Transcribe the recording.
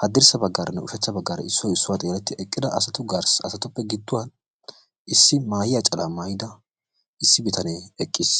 haddirssa baggaaranne ushachcha baggaara issoy issuwa xeelletti eqqida asatuppe gidduwan Issi maahiya calaa maayida issi bitanee eqqiis.